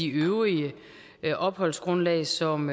øvrige opholdsgrundlag som